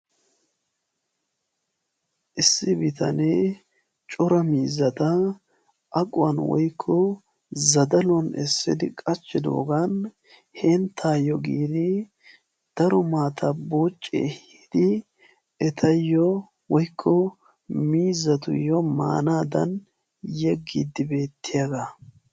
Issi bitanee cora miizata aquwaan woykko zazzaluwaan essidi qachchidogan henttaayoo giidi daro maataa buucci ekiidi etayoo woykko miizatuyoo maanadan yeggiidi beettiyaagaa.